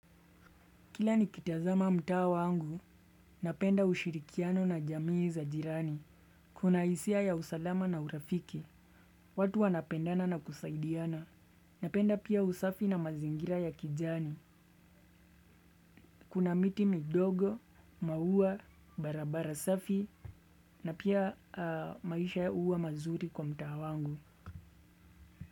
Kila nikitazama mtaa wangu, napenda ushirikiano na jamii za jirani. Kuna hisia ya usalama na urafiki, watu wanapendana na kusaidiana. Napenda pia usafi na mazingira ya kijani. Kuna miti midogo, maua, barabara safi, na pia maisha huwa mazuri kwa mtaa wangu.